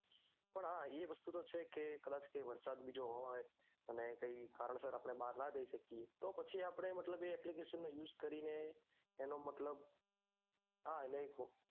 પણ હા એ વસ્તુ તો છે કે કૈક વરસાદ બીજો હોય અને કાંઈ કારણ સાર બાર ના જય શકીએ તો પછી આ આપડે મતલબ એ application નો use કરીને એનો મતલબ હા એને આ